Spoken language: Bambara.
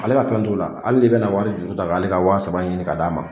Ale ka fɛn t'u la hali n'i bɛna wari juruta k'ale ka wa saba ɲini k'a d'ale ma.